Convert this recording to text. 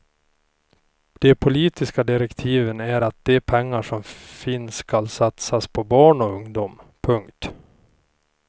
De politiska direktiven är att de pengar som finns ska satsas på barn och ungdom. punkt